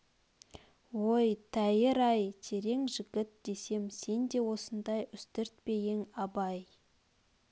өй тәйір-ай терең жігіт десем сен де осындай үстірт пе ең абай